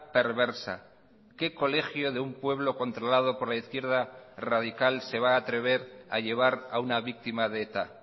perversa qué colegio de un pueblo controlado por la izquierda radical se va a atrever a llevar a una víctima de eta